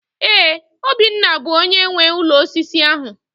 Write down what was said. Ee, Obinna bụ onyé nwe ụlọ osisi ahụ